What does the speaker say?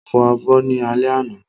Mo fọ abọ́ ní alẹ́ àná